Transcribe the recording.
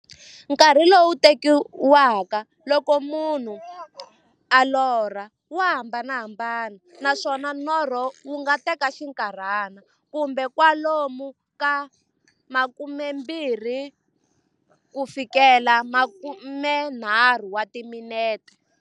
Nkarhi lowu tekiwaka loko munhu a lorha, wa hambanahambana, naswona norho wu nga teka xinkarhana, kumbe kwalomu ka 20-30 wa timinete.